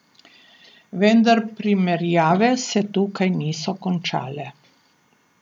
Vendar primerjave se tukaj niso končale.